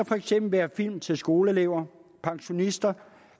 for eksempel være film til skoleelever pensionister